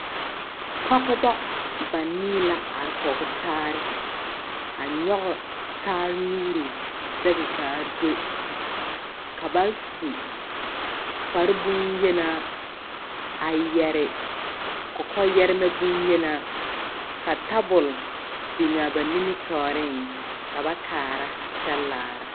Pɔgebɔ banii la are kɔge taare. A nyɔge taare nuuri zɛge kaa do, ka bas u kpareboŋyenaa, a yɛre kɔkɔyɛremɛ boŋyenaa. Ka tabol biŋaa ba nimitɔɔreŋ, ka ba kaara kyɛ laara.